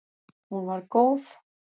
Hún var góð.